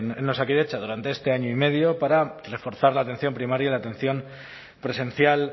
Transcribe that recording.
en osakidetza durante este año y medio para reforzar la atención primaria la atención presencial